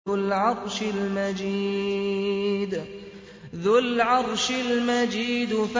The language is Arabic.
ذُو الْعَرْشِ الْمَجِيدُ